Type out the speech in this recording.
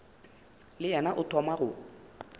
le yena o thoma go